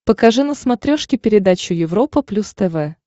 покажи на смотрешке передачу европа плюс тв